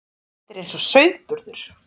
Þetta er eins og sauðburður.